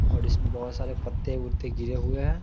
और इसमें बहुत सारे पत्ते वाते गिर हुए है ।